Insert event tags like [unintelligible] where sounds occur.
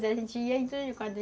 A gente ia [unintelligible]